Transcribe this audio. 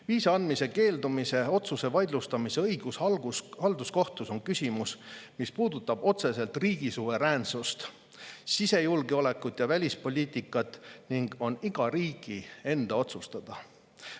Viisa andmisest keeldumise otsuse vaidlustamise õigus halduskohtus on küsimus, mis puudutab otseselt riigi suveräänsust, sisejulgeolekut ja välispoliitikat ning on iga riigi enda otsustada.